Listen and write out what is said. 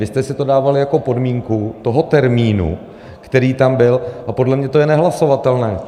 Vy jste si to dával jako podmínku toho termínu, který tam byl, a podle mě to je nehlasovatelné.